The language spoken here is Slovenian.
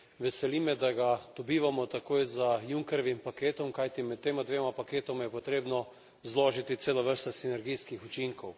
Veseli me, da ga dobivamo takoj za Junckerjevim paketom, kajti med tema dvema paketoma je potrebno zložiti celo vrsto sinergijskih učinkov.